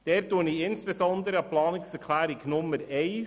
Ich erinnere diesbezüglich insbesondere an die Planungserklärung Nummer 1.